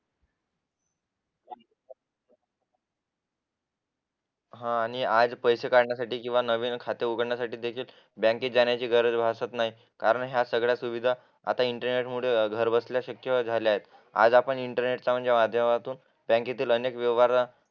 हा आणि आज पैसे काढण्यासाठी आणि नवीन खाते उघडण्यासाठी बँकेत जाण्याची गरज भासत नाही कारण ह्या सगळ्या सुविधा इंटरनेट वरून घर बसल्या शक्य झाल्या आहे इंटरनेटचा माध्यमातून बँकेत अनेक व्यवहार